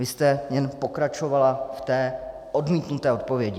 Vy jste jen pokračovala v té odmítnuté odpovědi.